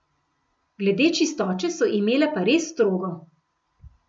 Glede čistoče so imele pa res strogo.